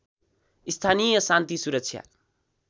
स्थानीय शान्ति सुरक्षा